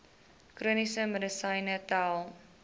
chroniese medisyne tel